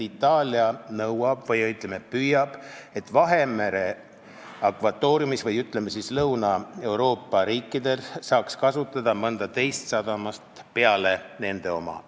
Itaalia nõuab või, ütleme, püüab saavutada, et Lõuna-Euroopa riikides saaks kasutada mõnda teist sadamat peale nende oma.